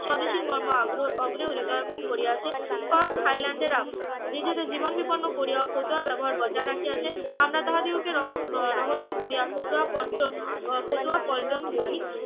স্বদেশী মা হৃদয়াঙ্গম করিয়াছে স্কট হাইল্যান্ডেরা নিজেদের জীবন বিপন্ন করিয়াও ফতুয়া ব্যবহার বজায় রাখিয়াছে আমরা তাহাদিগকে ~ রহস্য করিয়া ফতুয়া পল্টন আহ ফতুয়া পল্টন বলি